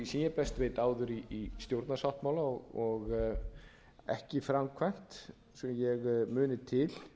ég best veit áður í stjórnarsáttmála og ekki framkvæmt svo ég muni til